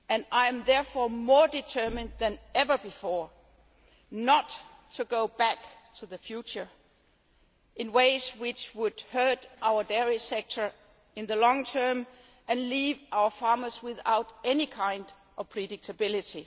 I am therefore more determined than ever before not to go back to the future in ways which would hurt our dairy sector in the long term and leave our farmers without any kind of predictability.